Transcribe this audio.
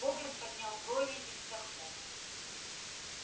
богерт поднял брови и вздохнул